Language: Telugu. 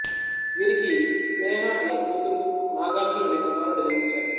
వీరికి స్నేహ అనే కూతురు నాగార్జున్ అనే కుమారుడు జన్మించారు